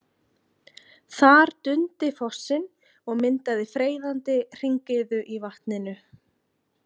Þar dundi fossinn og myndaði freyðandi hringiðu í vatninu.